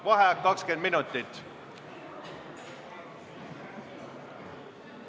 V a h e a e g